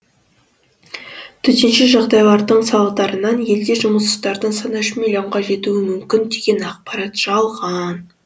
төтенше жағдайдың салдарынан елде жұмыссыздардың саны үш миллионға жетуі мүмкін деген ақпарат жалған